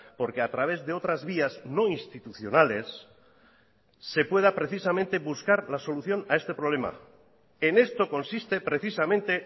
porque a través de otras vías no institucionales se pueda precisamente buscar la solución a este problema en esto consiste precisamente